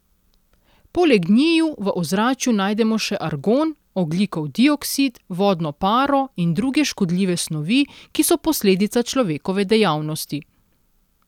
Poleg njiju v ozračju najdemo še argon, ogljikov dioksid, vodno paro in druge škodljive snovi, ki so posledica človekove dejavnosti.